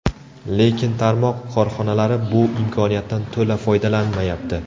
Lekin tarmoq korxonalari bu imkoniyatdan to‘la foydalanmayapti.